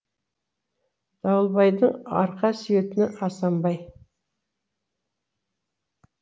дауылбайдың арқа сүйетені асамбай